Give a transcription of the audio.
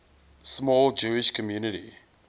small jewish community